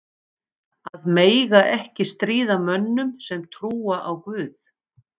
Að mega ekki stríða mönnum sem trúa á guð?